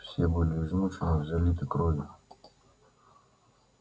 все были измучены и залиты кровью